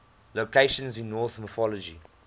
locations in norse mythology